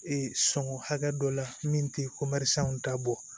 Ee sɔngɔ hakɛ dɔ la min te komɛri sanw ta bɔ